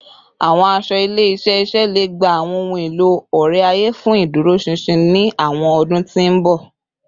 Awọn aṣọ ile-iṣẹ iṣẹ le gba awọn ohun elo ore-aye fun iduroṣinṣin ni awọn ọdun ti n bọ